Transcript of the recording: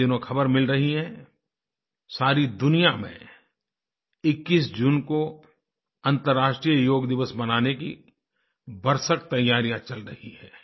इन दिनों ख़बर मिल रही है सारी दुनिया में 21 जून को अंतर्राष्ट्रीय योग दिवस मनाने की भरसक तैयारियाँ चल रही हैं